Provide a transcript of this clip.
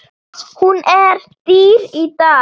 Hún er dýr í dag.